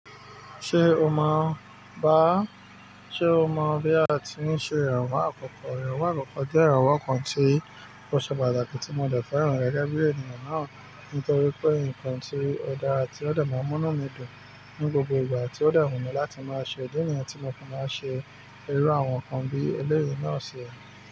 Ṣé o mọ̀, bá? Ṣé o mọ̀ bí a ti ń ṣe ìrànwọ́ àkọ́kọ́? Ìrànwọ́ àkọ́kọ́ jẹ́ ìrànwọ́ kan tí kò ṣe pàtàkì tí mo dẹ̀ fẹ́ ràn rẹ gẹ́gẹ́ bí ènìyàn náà, nítorí pé nǹkan tí ó dára tí ó dẹ̀ máa n múnú mi dùn ní gbogbo ìgbà tí ó dẹ̀ wù mí láti máa ṣe. Di nìyẹn tí mo kàn máa ń ṣe irú àwọn nǹkan bí eléyìí náà ṣe.